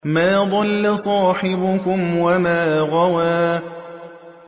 مَا ضَلَّ صَاحِبُكُمْ وَمَا غَوَىٰ